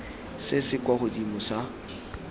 se se kwa godimo sa